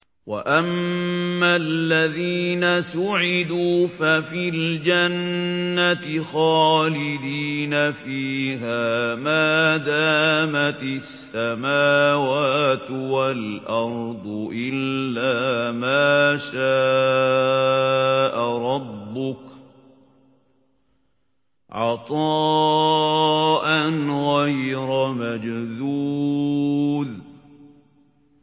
۞ وَأَمَّا الَّذِينَ سُعِدُوا فَفِي الْجَنَّةِ خَالِدِينَ فِيهَا مَا دَامَتِ السَّمَاوَاتُ وَالْأَرْضُ إِلَّا مَا شَاءَ رَبُّكَ ۖ عَطَاءً غَيْرَ مَجْذُوذٍ